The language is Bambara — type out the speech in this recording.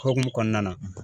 Hokumu kɔnɔna na.